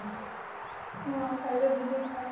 ਹਾਂ, ਸ਼ਾਇਦ ਉਦੋਂ ਦੇਖਿਆ।